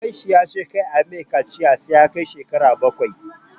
Babansa ya ce kar ayi mai kaciya sai ya kai shekara bakwai